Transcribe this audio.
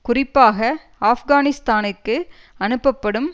குறிப்பாக ஆப்கானிஸ்தானிற்கு அனுப்பப்படும்